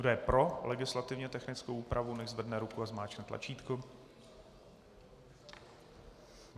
Kdo je pro legislativně technickou úpravu, nechť zvedne ruku a zmáčkne tlačítko.